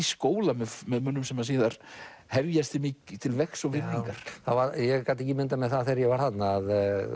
skóla með mönnum sem síðar hefjast til vegs og virðingar ég gat ekki ímyndað mér þegar ég var þarna